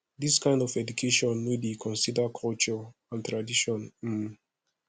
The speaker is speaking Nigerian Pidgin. this kind of education no dey consider culture and tradition um